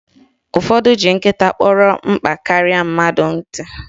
Ụfọdụ ji nkịta kpọrọ mkpa karịa mmadụ nkịtị